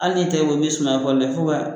Hali n'i y'i tigɛ bɔ ni fo ka